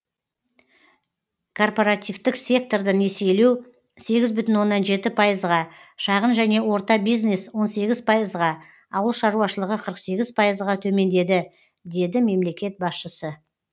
корпоративтік секторды несиелеу сегіз бүтін оннан жеті пайызға шағын және орта бизнес он сегіз пайызға ауыл шаруашылығы қырық сегіз пайызға төмендеді деді мемлекет басшысы